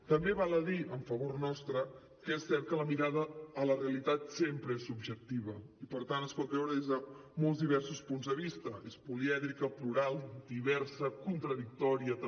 també val a dir en favor nostre que és cert que la mirada a la realitat sempre és subjectiva i per tant es pot veure des de molts diversos punts de vista és polièdrica plural diversa contradictòria també